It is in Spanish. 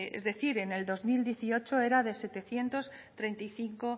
e decir en el dos mil dieciocho era de setecientos treinta y cinco